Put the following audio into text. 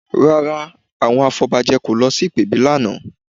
Rárá, àwọn afọbajẹ kò lọ sí ìpèbí lánàá